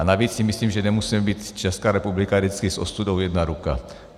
A navíc si myslím, že nemusíme být - Česká republika - vždycky s ostudou jedna ruka.